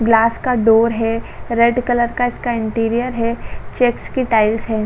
Glass का door है। Red colour का इसका इंटीरियर है। चेक्स की टाइल्स (tiles) है।